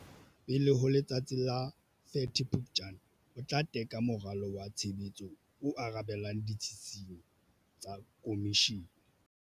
Pele ho letsatsi la 30 Phuptjane, o tla teka moralo wa tshebetso o arabelang ditshisinyo tsa Khomishene.